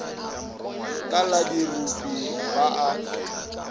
ka la dirupu ba a